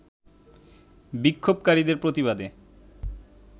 বিক্ষোভকারীদের প্রতিবাদে